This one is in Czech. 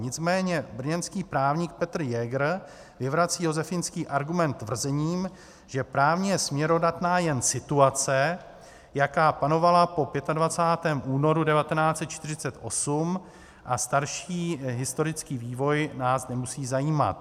Nicméně brněnský právník Petr Jäger vyvrací josefínský argument tvrzením, že právně je směrodatná jen situace, jaká panovala po 25. únoru 1948, a starší historický vývoj nás nemusí zajímat.